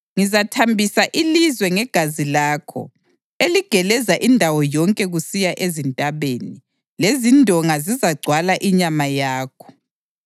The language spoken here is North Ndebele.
Ngizathambisa ilizwe ngegazi lakho eligeleza indawo yonke kusiya ezintabeni, lezindonga zizagcwala inyama yakho.